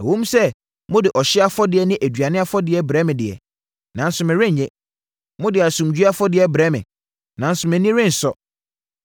Ɛwom sɛ mode ɔhyeɛ afɔdeɛ ne aduane afɔdeɛ brɛ me deɛ, nanso merennye. Mode asomdwoeɛ afɔdeɛ brɛ me nanso mʼani rensɔ.